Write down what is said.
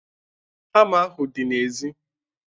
Hama ahụ dị n'èzí